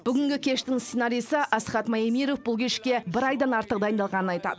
бүгінгі кештің сценаристі асқат маемиров бұл кешке бір айдан артық дайындалғанын айтады